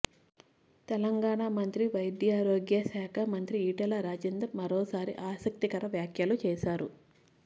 తెలంగాణ వైద్యారోగ్య శాఖ మంత్రి ఈటల రాజేందర్ మరోసారి ఆసక్తికర వ్యాఖ్యలు చేశారు